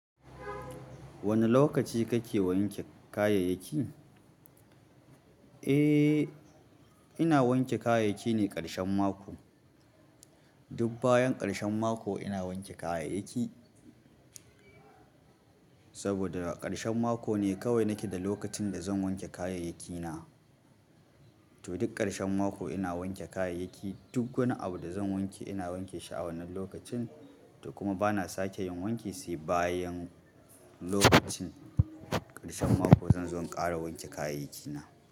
Wane lokaci kake wanke kayayyaki? Eh, ina wanke kayayyaki ne ƙarshen mako. Duk bayan ƙarshen mako ina wanke kayayyaki. Saboda ƙarshen mako ne kawai nake da lokacin da zan wanke kayayyakina. To duk ƙarshen mako ina wanke kayayyaki, duk wani abu da zan wanke ina wanke shi a wannan lokacin, to kuma bana sake yin wanke sai bayan lokacin ƙarshen mako zan zo in ƙara wanke kayayyaki na.